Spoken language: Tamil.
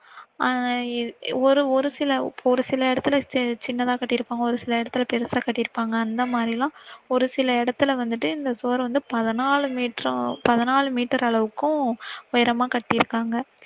ஆஹ் ஒரு, ஒரு சில, ஒரு சில இடத்துல சின்னதா கட்டிருக்காங்க ஒரு சில இடத்துதுல பெருசா கட்டிருப்பாங்க. அந்த மாதிரி எல்லாம் ஒரு சில இடத்துல வந்திட்டு இந்த சுவர் வந்து பதினாலு மீட்டர், பதினாலு மீட்டர் அளவுக்கும் உயரமா கட்டிருக்காங்க.